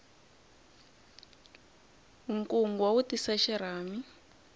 nkungwa wu tisa xirhami